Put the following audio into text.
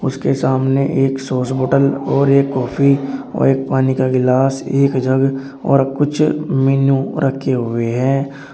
इसके सामने एक सॉस बोतल और एक कॉफी और एक पानी का गिलास एक जग और कुछ मीनू रखे हुए हैं।